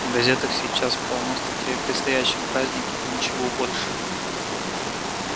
в газетах сейчас полно статей о предстоящем празднике и ничего больше